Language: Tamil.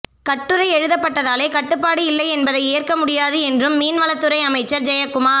கட்டுரை எழுதப்பட்டதாலே கட்டுப்பாடு இல்லை என்பதை ஏற்க முடியாது என்றும் மீன் வளத்துறை அமைச்சர் ஜெயக்குமார்